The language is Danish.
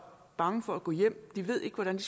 bange for at gå hjem de ved ikke hvordan de